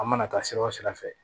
An mana taa sira o sira fɛ